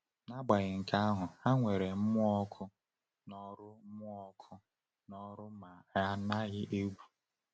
“N’agbanyeghị nke ahụ, ha nwere mmụọ ọkụ n’ọrụ mmụọ ọkụ n’ọrụ ma ha anaghị egwu.”